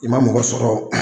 I man mɔgɔ sɔrɔ o